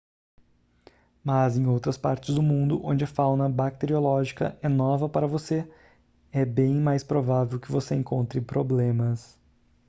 mas em outras partes do mundo onde a fauna bacteriológica é nova para você é bem mais provável que você encontre problemas